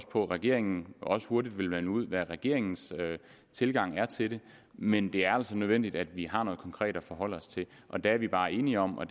på at regeringen også hurtigt vil melde ud hvad regeringens tilgang er til det men det er altså nødvendigt at vi har noget konkret at forholde os til og det er vi bare enige om og